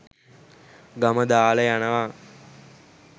ගම දාලා යනවා.